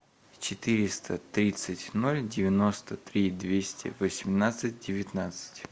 четыреста тридцать ноль девяносто три двести восемнадцать девятнадцать